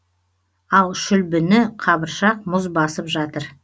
ал шүлбіні қабыршық мұз басып жатыр